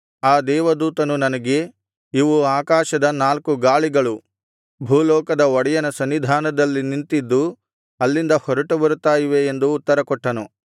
ಆ ದೇವದೂತನು ನನಗೆ ಇವು ಆಕಾಶದ ನಾಲ್ಕು ಗಾಳಿಗಳು ಭೂಲೋಕದ ಒಡೆಯನ ಸನ್ನಿಧಾನದಲ್ಲಿ ನಿಂತಿದ್ದು ಅಲ್ಲಿಂದ ಹೊರಟು ಬರುತ್ತಾ ಇವೆ ಎಂದು ಉತ್ತರಕೊಟ್ಟನು